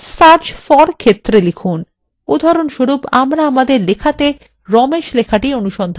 উদাহরণস্বরূপ আমরা আমাদের লেখাতে ramesh লেখাটি অনুসন্ধান করতে চাই